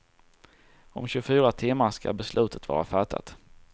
Om tjugofyra timmar ska beslutet vara fattat.